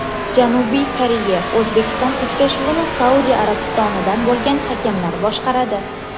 Janubiy Koreya O‘zbekiston uchrashuvini Saudiya Arabistonidan bo‘lgan hakamlar boshqaradi.